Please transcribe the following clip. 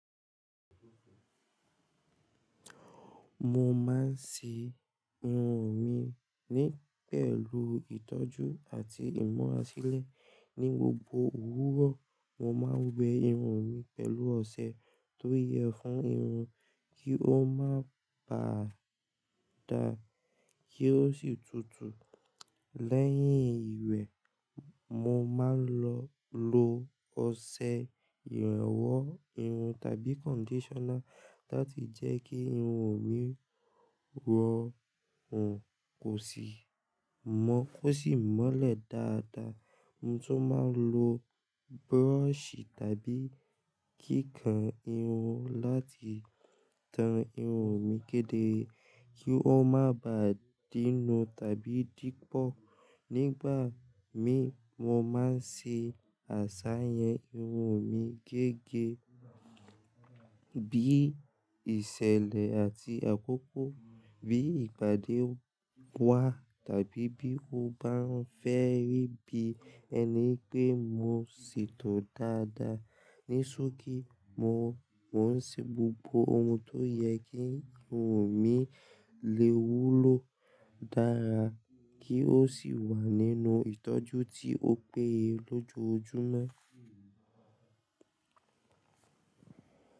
Mo máa ń ṣe irun mi ní pẹ̀lú ìtọ́jú àti ìmura sile ní gbogbo òwúrọ̀. Mo máa ń wẹ irun mi pẹ̀lú ọṣẹ tó yẹ fún irun kí ó má bà dà, kí ó sì tutù. Lẹ́yìn ìwẹ̀, mo máa ń lò ọṣẹ ìrẹ́wọ́ irun tàbí conditioner láti jẹ́ kí irun mi rọrùn kò sì mọ́lẹ̀ dáadáa. Mo tún máa ń lo brush tàbí kíkan irun láti tan irun mi kéde kí ó má bà dínú tàbí dípọ̀. Nígbà mí, mo máa ń ṣe àṣàyàn irun mi gẹ́gẹ́ bí ìṣẹ̀lẹ̀ àti àkókò, bí ìpàdé wa tàbí bí mo bá fẹ́ rí bí ẹni pé mo ṣètò dáadáa. Nísọ̀kí, mo ń ṣe gbogbo ohun tó yẹ kí irun mi lè wúlò dára kí ó sì wà nínú ìtọ́jú tí ó péye lójoojúmọ́.